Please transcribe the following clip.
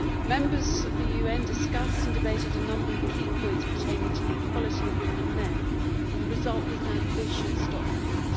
Members of the UN discussed and debated a number of key points pertaining to the equality of women and men, and the result was an ambitious document.